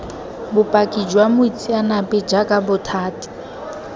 bopaki jwa moitseanape jaaka bothati